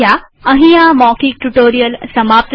અહીં આ મૌખિક ટ્યુ્ટોરીઅલ સમાપ્ત થાય છે